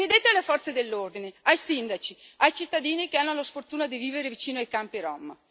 Chiedete alle forze dell'ordine, ai sindaci, ai cittadini che hanno la sfortuna di vivere vicino ai campi rom.